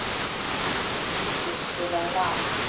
Muggi, spilaðu lag.